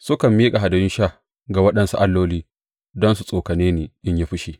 Sukan miƙa hadayun sha ga waɗansu alloli don su tsokane ni in yi fushi.